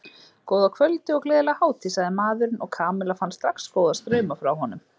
Góða kvöldið og gleðilega hátíð sagði maðurinn og Kamilla fann strax góða strauma frá honum.